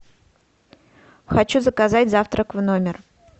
хочу заказать завтрак в номер